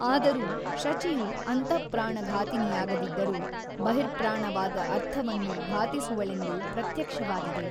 ಆದರೂ ಶಚಿಯು ಅಂತಃಪ್ರಾಣ ಘಾತಿನಿಯಾಗದಿದ್ದರೂ ಬಹಿಃಪ್ರಾಣವಾದ ಅರ್ಥವನ್ನು ಘಾತಿಸುವಳೆಂದು ಪ್ರತ್ಯಕ್ಷವಾಗಿದೆ.